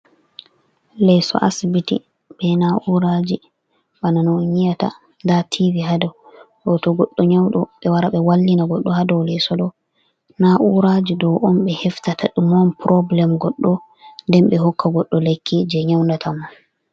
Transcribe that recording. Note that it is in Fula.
Leso asibiti ɓe n'uraji, bana no on nyiyata nda tivi haa dow, ɗo to goɗɗo nyauɗo ɓe wara ɓe wallina goɗɗo haa do leso ɗo. Na'uraji ɗo on ɓe heftata ɗume on purobulem goɗɗo ɗen ɓe hokka goɗɗo lekki je nyaundata ma.